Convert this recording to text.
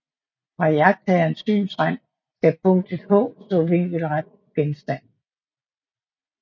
Fra iagttagerens synsrand skal punktet h stå vinkelret på genstanden